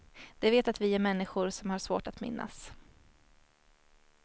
De vet att vi är människor som har svårt att minnas.